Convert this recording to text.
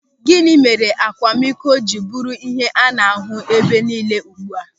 Gịnị mere akwamiko ji bụrụ ihe a na-ahụ ebe nille ugbu a.